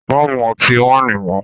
Má mú ọtí wáìnì mọ́!